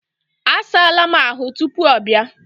A saala m ahụ tupuu ọ bịa.